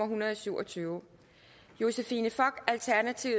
hundrede og syv og tyve josephine fock